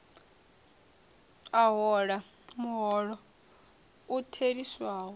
a hola muholo u theliswaho